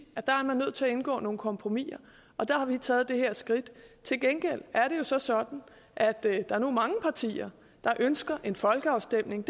at der er man nødt til indgå nogle kompromiser og der har vi taget det her skridt til gengæld er det jo så sådan at der nu er mange partier der ønsker en folkeafstemning